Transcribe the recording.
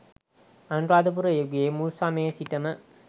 අනුරාධපුර යුගයේ මුල් සමයේ සිටම